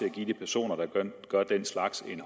at give de personer der gør den slags en